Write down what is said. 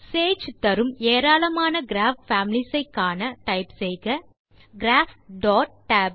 Sage தரும் ஏராளமான graph families ஐ காண typeசெய்க கிராப்